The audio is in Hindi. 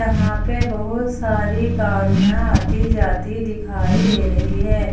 यहां पे बहुत सारी गाड़ियां आती जाती दिखाई दे रही है।